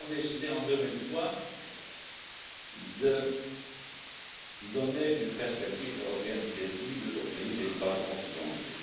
Nous avons décidé, en 2003, de donner une perspective européenne crédible aux pays des Balkans occidentaux.